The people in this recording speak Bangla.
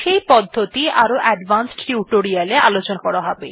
সেই পদ্ধতি আরো অ্যাডভান্সড টিউটোরিয়ালে আলোচনা করা হবে